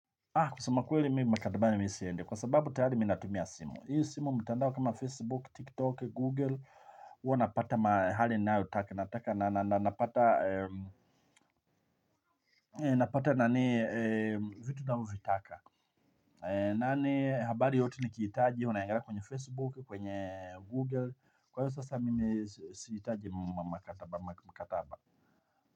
Kweli mimi maktabani siendi. Kwa sababu tayari mimi natumia simu. Hiyo simu mtandao kama Facebook, TikTok, Google, huwa napata mahali na utaka. Napata vitu navyovitaka. Habari yote ni kiitaji. Unaangalia kwenye Facebook, kwenye Google. Kwa hiyo sasa mimi siitaji mkataba.